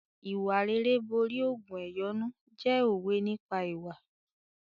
"Ìwà rere borí ògùn ẹ̀yọ́nú" jẹ́ òwe nípa ìwà.